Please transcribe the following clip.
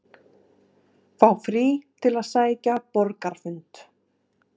Fá frí til að sækja borgarafund